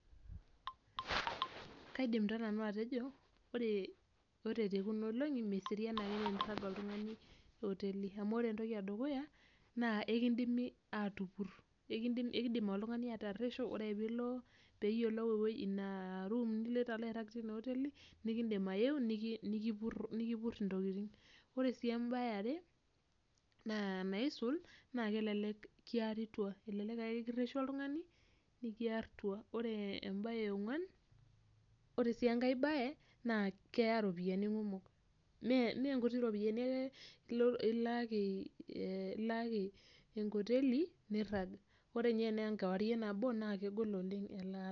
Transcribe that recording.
Kaidim taa nanu atejo ore tekuna olongi meserian ake tenirag oltungani oteli. Amu ore entoki edukuya, naa ekidimi aatupur ekidim oltungani ataresho ore peeyiolou ina ruum niloito airag tina oteli, nikidim ayeu nikipur intokitin. Ore embae eare, naa enaisul naa kelelek kiari tua elelek ake kireshu oltungani nikiar tua ore. Ore enkae embae eonguan ore sii enkae bae keya ropiyiani kumok meenkuti ropiyiani ilaaki enkoteli niirag, ore ninye enaa nabo naa kegol oleng' elaata.